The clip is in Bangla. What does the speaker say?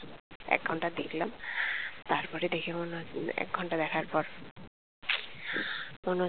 একঘণ্টা দেখলাম তারপর দেখে মনে হছে যে একঘণ্টা দেখার পর মনে